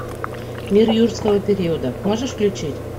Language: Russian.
мир юрского периода можешь включить